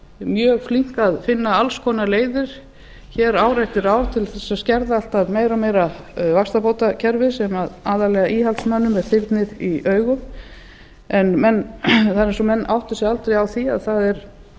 mjög flink að finna alls konar leiðir hér ár eftir ár til þess að skerða alltaf meira og meira vaxtabótakerfið sem aðallega íhaldsmönnum er þyrnir í augum það er eins og menn átti sig aldrei á því að það